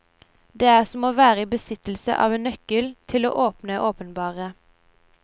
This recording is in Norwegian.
Det er som å være i besittelse av en nøkkel, til å åpne og åpenbare.